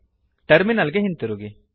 terminal ಗೆ ಹಿಂದಿರುಗಿ